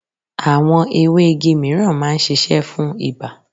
Àwọn ewé igi míràn máa ń sisẹ́ fún ibà